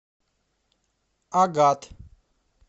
агат